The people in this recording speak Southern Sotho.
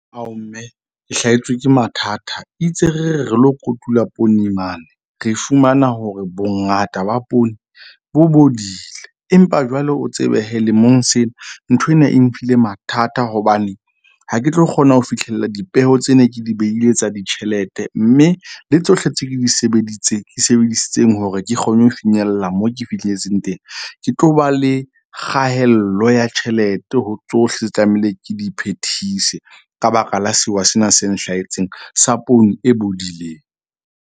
Mme ke hlahetswe ke mathata itse re re re lo kotula poone mane, re fumana hore bongata ba poone bo bodile. Empa jwale o tsebe lemong sena nthwena e mphile mathata. Hobane ha ke tlo kgona ho fihlella dipeo tse ne ke di behile tsa ditjhelete, mme le tsohle tse ke di di sebedisitseng hore ke kgone ho finyella moo ke fihletseng teng, ke tlo ba le kgaello ya tjhelete ho tsohle tlamehile ke di phethise ka baka la sewa sena se nhlahetseng sa poone e bodileng.